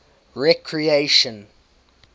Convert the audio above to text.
recreation